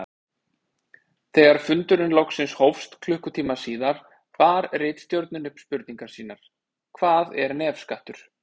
Þegar fundurinn loksins hófst klukkutíma síðar bar ritstjórnin upp spurningar sínar: Hvað er nefskattur?